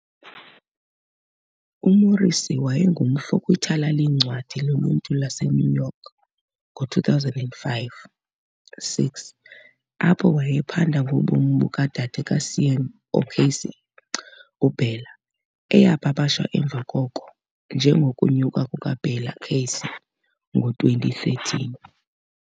UMorrissy wayengumfo kwiThala leeNcwadi loLuntu laseNew York ngo-2005-6, apho wayephanda ngobomi bukaDade kaSean O'Casey, uBella, eyapapashwa emva koko "njengoKunyuka kukaBella Casey" ngo-2013.